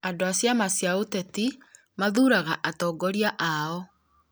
andũ a ciama cia ũteti mathuuraga atongoria ao